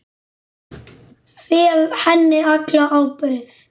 Fel henni alla ábyrgð.